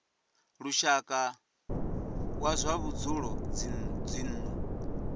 lushaka wa zwa vhudzulo dzinnu